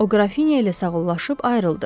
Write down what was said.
O qrafinya ilə sağollaşıb ayrıldı.